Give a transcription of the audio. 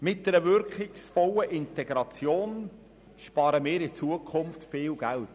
Mit einer wirkungsvollen Integration sparen wir in Zukunft viel Geld.